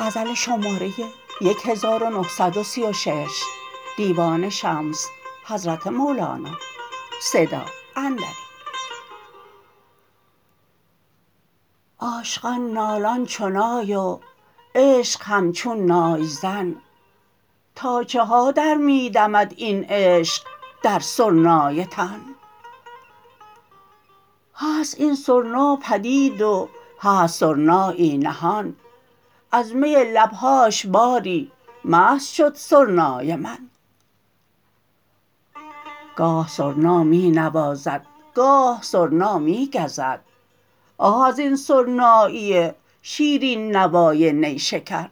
عاشقان نالان چو نای و عشق همچون نای زن تا چه ها در می دمد این عشق در سرنای تن هست این سر ناپدید و هست سرنایی نهان از می لب هاش باری مست شد سرنای من گاه سرنا می نوازد گاه سرنا می گزد آه از این سرنایی شیرین نوای نی شکن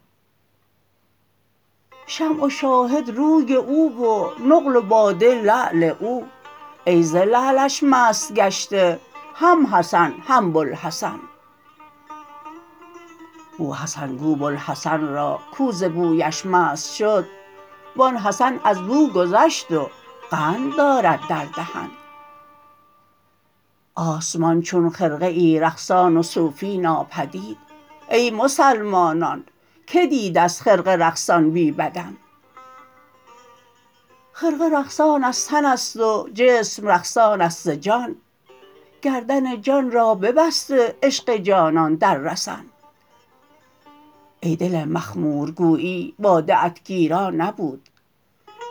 شمع و شاهد روی او و نقل و باده لعل او ای ز لعلش مست گشته هم حسن هم بوالحسن بوحسن گو بوالحسن را کو ز بویش مست شد وان حسن از بو گذشت و قند دارد در دهن آسمان چون خرقه رقصان است و صوفی ناپدید ای مسلمانان که دیده ست خرقه رقصان بی بدن خرقه رقصان از تن است و جسم رقصان است ز جان گردن جان را ببسته عشق جانان در رسن ای دل مخمور گویی باده ات گیرا نبود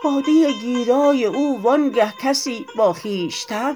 باده گیرای او وانگه کسی با خویشتن